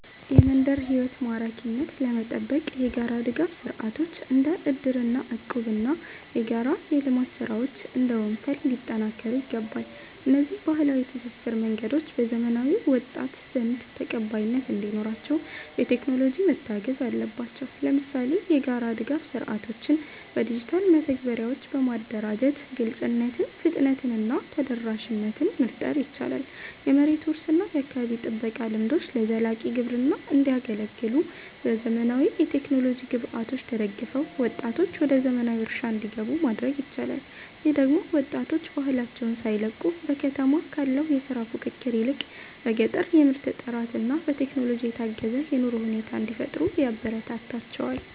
የመንደር ሕይወት ማራኪነትን ለመጠበቅ የጋራ ድጋፍ ሥርዓቶች (እንደ እድርና እቁብ) እና የጋራ የልማት ሥራዎች (እንደ ወንፈል) ሊጠናከሩ ይገባል። እነዚህ ባህላዊ የትስስር መንገዶች በዘመናዊው ወጣት ዘንድ ተቀባይነት እንዲኖራቸው፣ በቴክኖሎጂ መታገዝ አለባቸው። ለምሳሌ፣ የጋራ ድጋፍ ሥርዓቶችን በዲጂታል መተግበሪያዎች በማደራጀት ግልጽነትን፣ ፍጥነትን እና ተደራሽነትን መፍጠር ይቻላል። የመሬት ውርስ እና የአካባቢ ጥበቃ ልምዶችም ለዘላቂ ግብርና እንዲያገለግሉ፣ በዘመናዊ የቴክኖሎጂ ግብዓቶች ተደግፈው ወጣቶች ወደ ዘመናዊ እርሻ እንዲገቡ ማድረግ ይቻላል። ይህ ደግሞ ወጣቶች ባህላቸውን ሳይለቁ፣ በከተማ ካለው የሥራ ፉክክር ይልቅ በገጠር የምርት ጥራትና በቴክኖሎጂ የታገዘ የኑሮ ሁኔታ እንዲፈጥሩ ያበረታታቸዋል